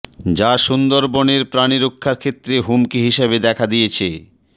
যা সুন্দরবনের প্রাণী রক্ষার ক্ষেত্রে হুমকি হিসেবে দেখা দিয়েছে